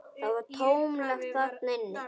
Það var tómlegt þarna inni.